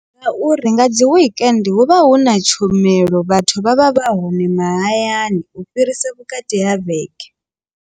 Ngauri nga dzi wekende hu vha hu na tshomelo vhathu vha vha vha hone mahayani u fhirisa vhukati ha vhege.